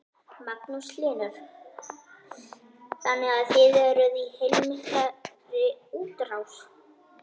Magnús Hlynur: Þannig að þið eruð í heilmikilli útrás?